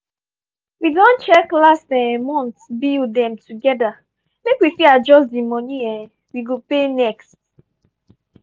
we don check last um month bill dem together make we fit adjust the money um we go pay next.